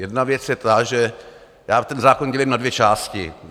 Jedna věc je ta, že já ten zákon dělím na dvě části.